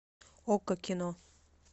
окко кино